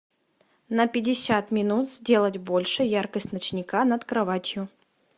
на пятьдесят минут сделать больше яркость ночника над кроватью